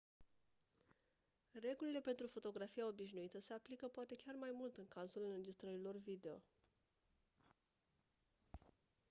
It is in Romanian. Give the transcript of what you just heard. regulile pentru fotografia obișnuită se aplică poate chiar mai mult în cazul înregistrărilor video